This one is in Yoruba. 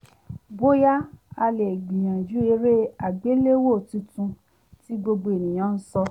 bóyá a lè gbìyànjú eré àgbéléwò tuntun tí gbogbo ènìyàn ń sọ